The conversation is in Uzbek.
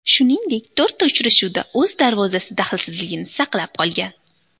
Shuningdek to‘rtta uchrashuvda o‘z darvozasi daxlsizligini saqlab qolgan.